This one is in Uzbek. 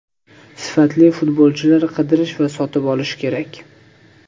Sifatli futbolchilar qidirish va sotib olish kerak.